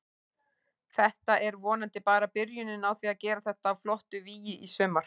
Þetta er vonandi bara byrjunin á því að gera þetta að flottu vígi í sumar.